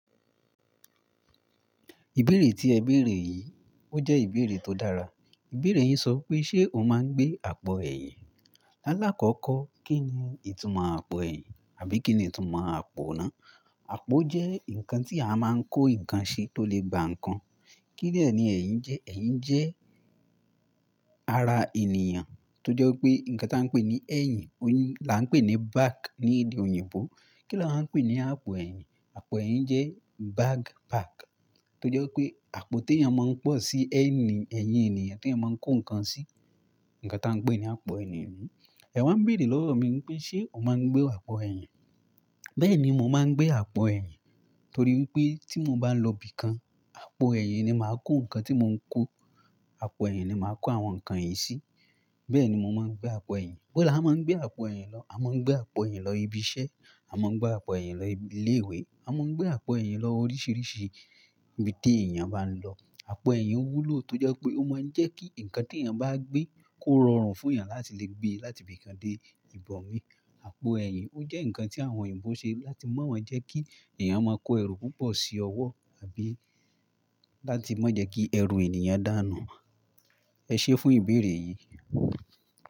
Ìbéèrè tí ẹ béèrè yìí, ó jẹ́ ìbéèrè tó dára. Ìbéèrè yìí sọ pé ṣe o máa ń gbé àpò ẹ̀yìn? Lálá kọ́kọ́, kí ni ìtumọ̀ àpò ẹ̀yìn àbí kí ni ìtumọ̀ àpò náà? Àpò jẹ́ nǹkan tí a máa ń kó nǹkan sí tó lè gba nǹkan. Kí deni ẹ̀yin jẹ́? Ẹ̀yin jẹ́ ara ènìyàn tó jẹ́ pé nǹkan tí a ń pè ní ẹ̀yìn, oun lá ń pè ní "back" ní èdè òyìnbó. Kí ni awa ń pè ní àpò ẹ̀yìn? Àpò ẹ̀yìn jẹ́ back bag tó jẹ́ pé àpò tí èèyàn máa ń pọ̀ sí ẹ̀yìn ènìyàn tí wọ́n máa ń kó nǹkan sí. Nǹkan tí wọ́n ń pè ní àpò ènìyàn. Ẹ wá béèrè lọ́rọ̀ mi pé ṣe o máa ń gbé àpò ẹ̀yìn? Bẹ́ẹ̀ni, mo máa ń gbé àpò ẹ̀yìn torí pé tí mo bá lọ ibìkan, àpò ẹ̀yìn ni màá kó nǹkan tí mo ń kó. Àpò ẹ̀yìn ni màá kó àwọn nǹkan yìí sí. Bẹ́ẹ̀ni, mo máa ń gbé àpò ẹ̀yìn. Ibo la máa ń gbé àpò ẹ̀yìn lọ. A máa ń gbé àpò ẹ̀yìn lọ ibi iṣẹ́, a máa ń gbé àpò ẹ̀yìn lọ ilé ìwé, a máa ń gbé àpò ẹ̀yìn lọ oríṣiríṣi ibi tí èèyàn bá ń lọ. Àpò ẹ̀yìn wúlò tó jẹ́ pé ó máa ń jẹ́ kí nǹkan tí èèyàn bá gbé kó rọrùn fún èèyàn láti lè gbé láti ibìkan dé ibòmí. Àpò ẹ̀yìn ó jẹ́ nǹkan tí àwọn òyìnbó ṣe láti mọ́ wọ́n jẹ́ kí èèyàn máa kó ẹrù púpọ̀ sí ọwọ́ àbí láti mọ́ jẹ́ kí ẹrù ènìyàn dànù. Ẹ ṣé fún ìbéèrè yìí.